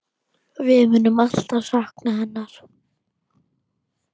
Við munum alltaf sakna hennar.